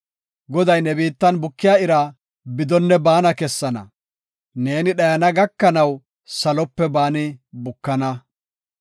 Goday ne biittan bukiya ira bidonne baana kessana; neeni dhayana gakanaw salope baani bukana.